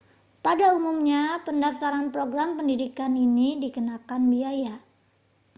pada umumnya pendaftaran program pendidikan ini dikenakan biaya